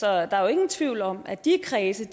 er jo ingen tvivl om at de kredse